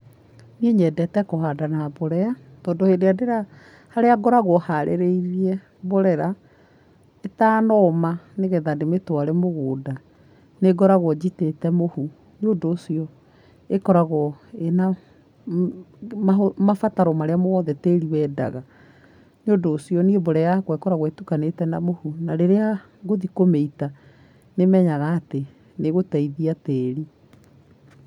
Niĩ nyendete kũhanda na mborera, tondũ hĩndĩ ĩria ndĩra, harĩa ngoragwo harĩrĩirie mborera, ĩtanoma nĩgetha ndĩmĩtware mũgũnda nĩngoragwo njitĩte mũhu, nĩũndũ ũcio ĩkoragwo ĩna mahũ mabataro marĩa mothe tĩri wendaga. Nĩũndũ ũcio niĩ mborera yakwa ĩkoragwo ĩtukanĩte na mũhu na rĩrĩa ngũthiĩ kũmĩita, nĩmenyaga atĩ gũthiĩ nĩĩgũteithia tĩrĩ.